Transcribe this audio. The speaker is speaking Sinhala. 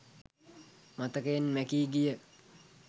මතකයෙන් මැකී ගිය